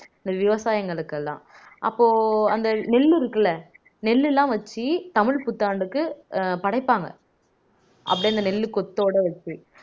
இந்த விவசாயங்களுக்கு எல்லாம் அப்போ அந்த நெல் இருக்குல்ல நெல்லெல்லாம் வச்சு தமிழ் புத்தாண்டுக்கு படைப்பாங்க அப்படியே அந்த நெல்லு கொத்தோட வச்சு